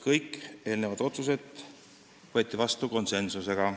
Kõik otsused võeti vastu konsensuslikult.